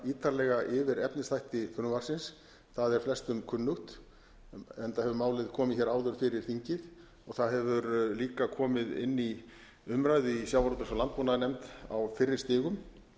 ítarlega yfir efnisþætti frumvarpsins það er flestum kunnugt enda hefur málið komið hér áður fyrir þingið það hefur líka komið inn í umræðu í sjávarútvegs og landbúnaðarnefnd á fyrri stigum